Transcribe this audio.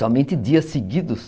Somente dias seguidos.